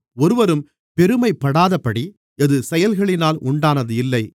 ஒருவரும் பெருமைப்படாதபடி இது செயல்களினால் உண்டானது இல்லை